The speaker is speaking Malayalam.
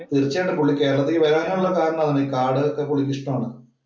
തീർച്ചയായിട്ടും പുള്ളി കേരളത്തിൽ വരാനുള്ള കാരണം അതാണ്. ഈ കാട് പുള്ളിക്ക് ഇഷ്ടമാണ്.